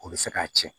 O bɛ se k'a tiɲɛ